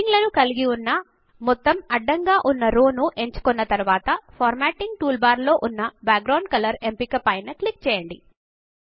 heading లను కలిగి ఉన్న మొత్తము అడ్డంగా ఉన్న రో ను ఎంచుకున్న తరువాత ఫార్మాటింగ్ టూల్ బార్ లో ఉన్న బ్యాక్గ్రౌండ్ కలర్ ఎంపిక పైన క్లిక్ చేయండి